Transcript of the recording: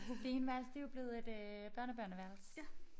Det ene værelse det jo blevet et øh børnebørneværelse